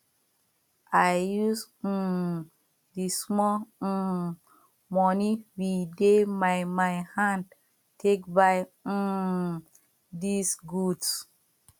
i use um di small um moni we dey my my hand take buy um dis goods